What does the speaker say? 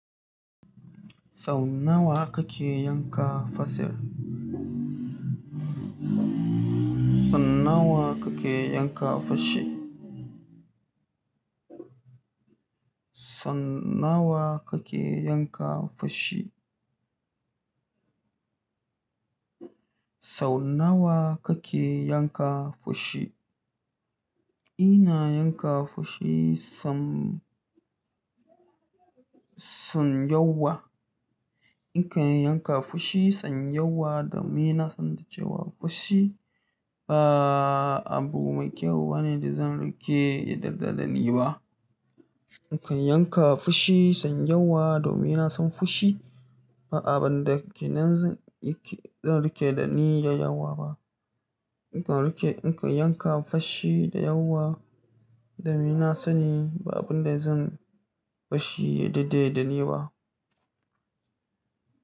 Sau nawa kake yanka farce? Sau nawa kake yanka farce? Sau nawa kake yanka fashi? Sau nawa kake yanka fushi? Ina yanka fushi sam, sam yawa. In kan yanka fushi sam yawa domin ina son da cewa fushi ba abu mai kyau bane da zan riƙe dadde da ni ba. In kan yanka fushi sam yawa domin na san fushi ba abun da kinan zan rike da ni yai yawa ba. In kan rike, in kan yanka fashi da yawa domin ina sani ba abun da zan barshi ya dade da ni ba.